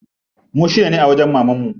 Mu shida ne a wajen mamanmu.